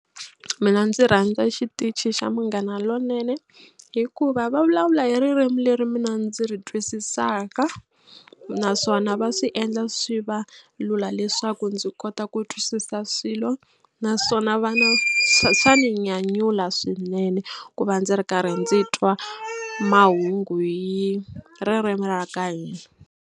Mina ndzi rhandza xitichi xa Munghana Lonene hikuva va vulavula hi ririmi leri mina ndzi ri twisisaka naswona va swi endla swi va lula leswaku ndzi kota ku twisisa swilo naswona va na swa ni nyanyula swinene ku va ndzi ri karhi ndzi twa mahungu hi ririmi ra ka hina.